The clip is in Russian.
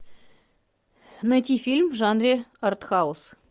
найти фильм в жанре арт хаус